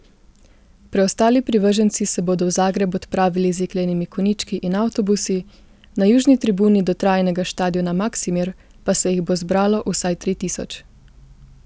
Preostali privrženci se bodo v Zagreb odpravili z jeklenimi konjički in avtobusi, na južni tribuni dotrajanega štadiona Maksimir pa se jih bo zbralo vsaj tri tisoč.